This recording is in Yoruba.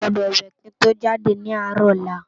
Mó gbòdò wè ki n tó jádé ni árò òlà